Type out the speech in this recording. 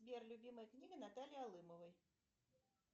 сбер любимая книга натальи алымовой